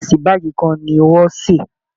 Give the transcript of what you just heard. Ìrẹsì báàgì kan ni wọ́n sè